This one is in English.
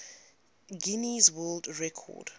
guinness world record